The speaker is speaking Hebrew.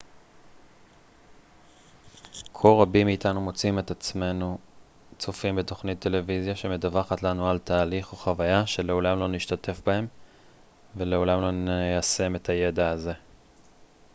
כה רבים מאיתנו מוצאים את עצמנו צופים בתוכנית טלוויזיה שמדווחת לנו על תהליך או חוויה שלעולם לא נשתתף בהם ולעולם לא ניישם את הידע הזה